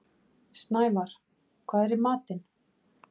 Snævarr, hvað er í matinn?